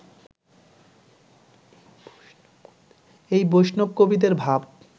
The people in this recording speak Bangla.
এই বৈষ্ণব-কবিদের ভাব